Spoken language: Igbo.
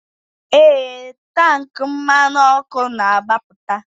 Ee, tank mmanụ ọkụ na-agbapụta.